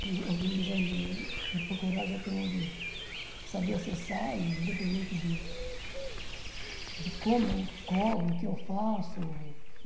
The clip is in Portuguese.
Alguém quiser me me procurar, já tem onde saber acessar, e independente de de como eu cobro, o que eu faço.